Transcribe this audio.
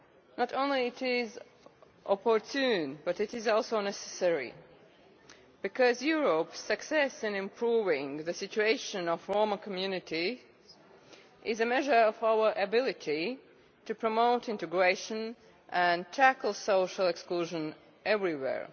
Not only is it opportune, but it is also necessary because Europe's success in improving the situation of Roma communities is a measure of our ability to promote integration and tackle social exclusion everywhere.